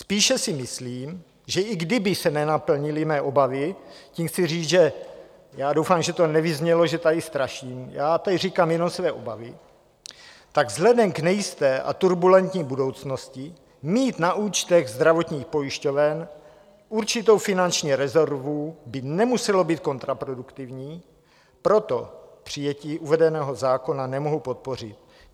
Spíše si myslím, že i kdyby se nenaplnily mé obavy - tím chci říct, že já doufám, že to nevyznělo, že tady straším, já tady říkám jenom své obavy - tak vzhledem k nejisté a turbulentní budoucnosti mít na účtech zdravotních pojišťoven určitou finanční rezervu by nemuselo být kontraproduktivní, proto přijetí uvedeného zákona nemohu podpořit.